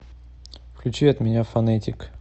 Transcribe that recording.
включи от меня фонэтик